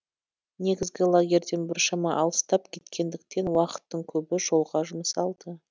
негізгі лагерьден біршама алыстап кеткендіктен уақыттың көбі жолға жұмсалды